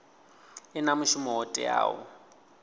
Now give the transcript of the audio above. i na mushumo wo teaho